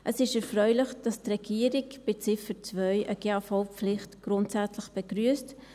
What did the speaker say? Es ist erfreulich, dass die Regierung bei Ziffer 2 eine GAV-Pflicht grundsätzlich begrüsst.